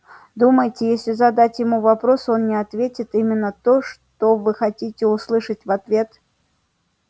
думаете если задать ему вопрос он не ответит именно то что вы хотите услышать в ответ